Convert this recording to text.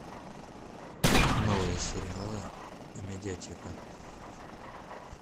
новые сериалы амедиатека